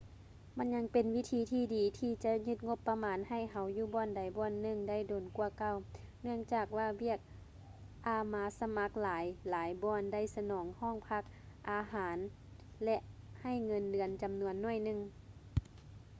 ມັນຍັງເປັນວິທີທີ່ດີທີ່ຈະຍືດງົບປະມານໃຫ້ເຮົາຢູ່ບ່ອນໃດບ່ອນໜຶ່ງໄດ້ດົນກວ່າເກົ່າ ເນື່ອງຈາກວ່າວຽກອາມາສະໝັກຫຼາຍໆບ່ອນໄດ້ສະໜອງຫ້ອງພັກ ຄ່າອາຫານ ແລະ ໃຫ້ເງິນເດືອນຈຳນວນໜ້ອຍໜຶ່ງ